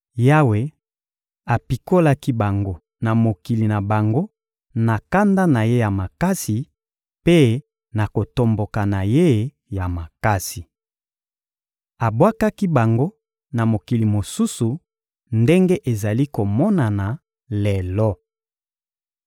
Yawe apikolaki bango na mokili na bango na kanda na Ye ya makasi mpe na kotomboka na Ye ya makasi. Abwakaki bango na mokili mosusu ndenge ezali komonana lelo.›